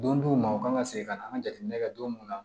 Don diw ma u kan ka segin ka na an ka jateminɛ kɛ don mun na